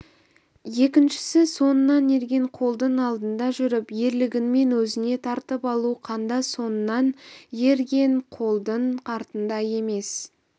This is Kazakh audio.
екіншісі соңынан ерген қолдың алдында жүріп ерлігіңмен өзіңе тартып алу қанда соңыңнан ерген қолдың артында емес